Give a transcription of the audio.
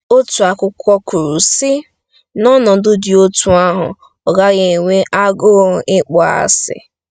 Otu akwụkwọ kwuru, sị: “N'ọnọdụ dị otú ahụ, ọ gaghị enwe agụụ ịkpọasị.